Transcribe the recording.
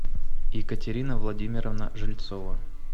екатерина владимировна жильцова